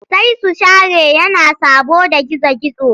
Sai su share yana saboda gizo-gizo.